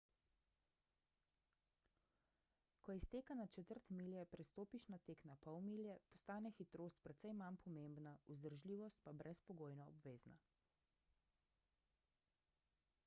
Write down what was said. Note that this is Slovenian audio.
ko iz teka na četrt milje prestopiš na tek na pol milje postane hitrost precej manj pomembna vzdržljivost pa brezpogojno obvezna